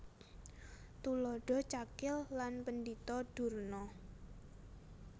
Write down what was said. Tuladha Cakil lan Pendhita Durna